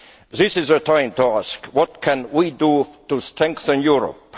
This is the time to ask, What can we do to strengthen Europe?'